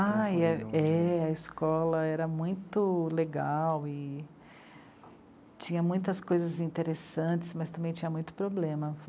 Ai é, é, a escola era muito legal e tinha muitas coisas interessantes, mas também tinha muito problema.